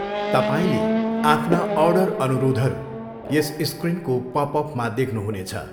तपाईँले आफ्ना अर्डर अनुरोधहरू यस स्क्रिनको पप अपमा देख्नुहुनेछ।